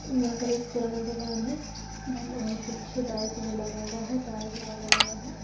यहाँ पे एक पुराना दुकान है और कुछ बाइक भी लगा हुआ है टायर भी लगा हुआ है।